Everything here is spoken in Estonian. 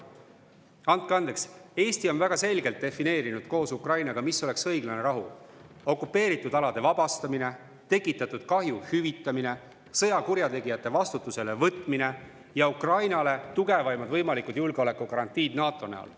Andke andeks, Eesti on väga selgelt defineerinud koos Ukrainaga, mis oleks õiglane rahu: okupeeritud alade vabastamine, tekitatud kahju hüvitamine, sõjakurjategijate vastutusele võtmine ja Ukrainale tugevaimad võimalikud julgeolekugarantiid NATO näol.